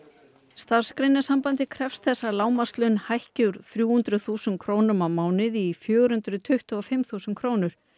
Starfsgreinasambandið krefst þess að lágmarkslaun hækki úr þrjú hundruð þúsund krónum í fjögur hundruð tuttugu og fimm þúsund krónur